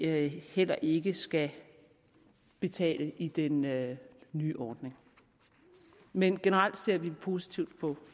heller ikke skal betale i den nye nye ordning men generelt ser vi positivt på